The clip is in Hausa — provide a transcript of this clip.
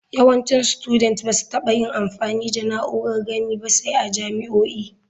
Yawancin studet ba su taɓa yin amfani da na'urar gani ba sai a jami'o'i.